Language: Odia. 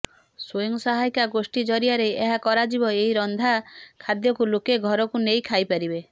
ସ୍ୱୟଂ ସହାୟକ ଗୋଷ୍ଠୀ ଜରିଆରେ ଏହା କରାଯିବ ଏହି ରନ୍ଧା ଖାଦ୍ୟକୁ ଲୋକେ ଘରକୁ ନେଇ ଖାଇପାରିବେ